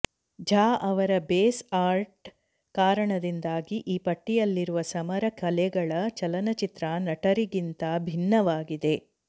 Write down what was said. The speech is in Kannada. ಜಾ ಅವರ ಬೇಸ್ ಆರ್ಟ್ನ ಕಾರಣದಿಂದಾಗಿ ಈ ಪಟ್ಟಿಯಲ್ಲಿರುವ ಸಮರ ಕಲೆಗಳ ಚಲನಚಿತ್ರ ನಟರಿಗಿಂತ ಭಿನ್ನವಾಗಿದೆ